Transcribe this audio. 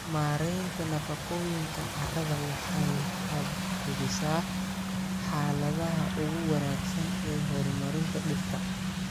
Maareynta nafaqooyinka carrada waxay hubisaa xaaladaha ugu wanaagsan ee horumarinta dhirta.